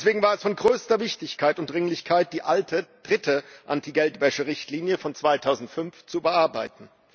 Deswegen war es von größter Wichtigkeit und Dringlichkeit, die alte, die dritte Anti Geldwäsche Richtlinie von 2005 zu überarbeiten.